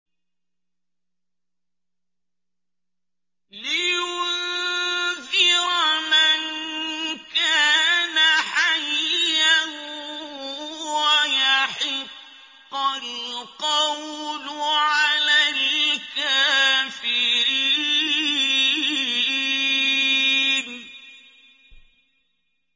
لِّيُنذِرَ مَن كَانَ حَيًّا وَيَحِقَّ الْقَوْلُ عَلَى الْكَافِرِينَ